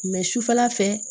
sufɛla fɛ